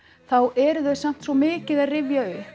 þá eru þau samt svo mikið að rifja upp